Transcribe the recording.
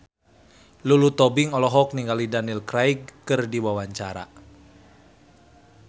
Lulu Tobing olohok ningali Daniel Craig keur diwawancara